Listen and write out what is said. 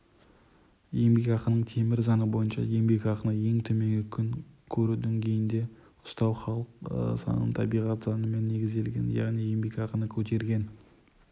еңбекақының темір заңы бойынша енбекақыны ең төменгі күн көру деңгейінде ұстау халық санының табиғат заңымен негізделген яғни еңбекақыны көтерген